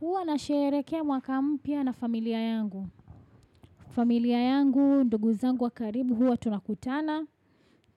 Huwa nasherehekea mwaka mpya na familia yangu. Familia yangu, ndugu zangu wa karibu huwa tunakutana.